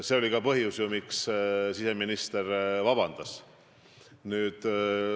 See oli ju ka põhjus, miks siseminister vabanduse esitas.